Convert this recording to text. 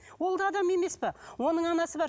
ол да адам емес пе оның анасы бар